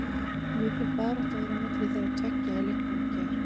Mikil barátta var á milli þeirra tveggja í leiknum í gær.